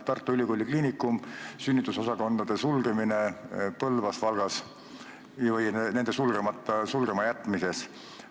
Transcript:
Tartu Ülikooli Kliinikum, sünnitusosakondade sulgemine Põlvas ja Valgas või nende sulgemata jätmine.